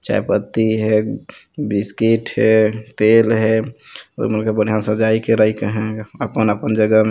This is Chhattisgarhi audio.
चाय पत्ती हे बिस्किट हे तेल हे मन के बढ़िया सजाये के राकन हे अपन अपन जगह में--